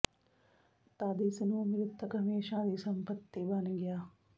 ਤਦ ਇਸ ਨੂੰ ਮ੍ਰਿਤਕ ਹਮੇਸ਼ਾ ਦੀ ਸੰਪਤੀ ਬਣ ਗਿਆ